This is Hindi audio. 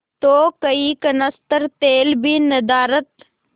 तो कई कनस्तर तेल भी नदारत